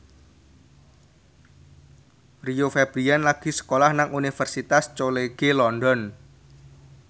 Rio Febrian lagi sekolah nang Universitas College London